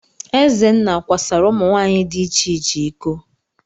Ezenna kwasara ụmụ nwaanyị di iche iche iko.